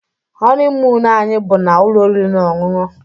honeymoon anyị bu na ụlọ oriri na ọṅụṅụ